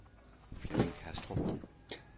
Flemming Kastrup